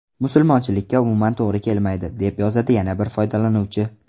Musulmonchilikka umuman to‘g‘ri kelmaydi”, deb yozadi yana bir foydalanuvchi.